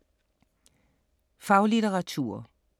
Faglitteratur